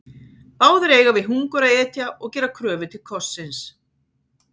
Báðir eiga við hungur að etja og gera kröfu til kossins.